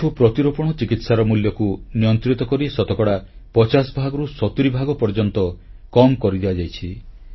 ଆଣ୍ଠୁ ପ୍ରତିରୋପଣ ଚିକିତ୍ସାର ମୂଲ୍ୟକୁ ନିୟନ୍ତ୍ରିତ କରି ଶତକଡ଼ା 50 ଭାଗରୁ 70 ଭାଗ ପର୍ଯ୍ୟନ୍ତ କମ୍ କରି ଦିଆଯାଇଛି